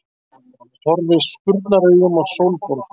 Horfði spurnaraugum á Sólborgu.